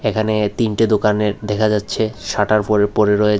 এখানে তিনটে দোকানের দেখা যাচ্ছে শাটার ফোরে পড়ে রয়েছে।